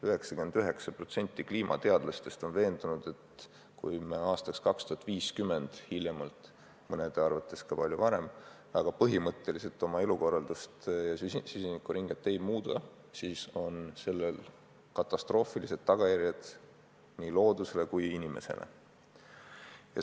99% kliimateadlastest on veendunud, et kui me hiljemalt aastaks 2050 – mõnede arvates ka palju varem – väga põhimõtteliselt oma elukorraldust ja süsinikuringet ei muuda, siis on sellel katastroofilised tagajärjed nii loodusele kui inimesele.